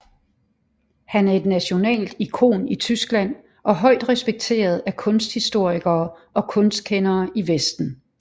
Han er et nationalt ikon i Tyskland og højt respekteret af kunsthistorikere og kunstkendere i Vesten